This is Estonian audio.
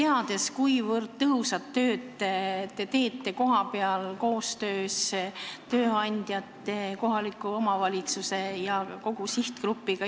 Ma tean, kuivõrd tõhusat tööd te teete kohapeal koostöös tööandjate, kohaliku omavalitsuse ja kogu sihtgrupiga.